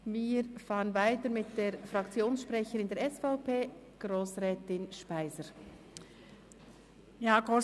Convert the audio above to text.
Wir fahren weiter mit der Fraktionssprecherin der SVP, Grossrätin Anne Speiser-Niess.